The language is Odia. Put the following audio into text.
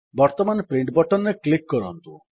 ବର୍ତ୍ତମାନ ପ୍ରିଣ୍ଟ୍ ବଟନ୍ ରେ କ୍ଲିକ୍ କରନ୍ତୁ